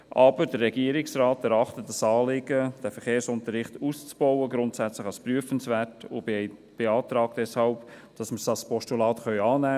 Aber der Regierungsrat erachtet das Anliegen, den Verkehrsunterricht auszubauen, grundsätzlich als prüfenswert und beantrag deshalb, dass wir es als Postulat annehmen können.